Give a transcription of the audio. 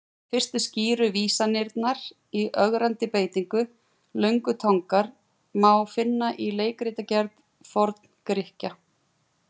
Fyrstu skýru vísanirnar í ögrandi beitingu löngutangar má finna í leikritagerð Forn-Grikkja.